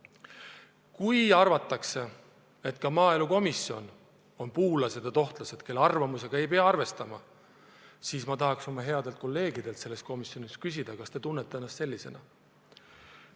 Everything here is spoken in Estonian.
Kui arvatakse, et ka maaelukomisjonis on puulased ja tohtlased, kelle arvamusega ei pea arvestama, siis ma tahaks oma headelt kolleegidelt selles komisjonis küsida, kas nad tunnevad ennast sellisena.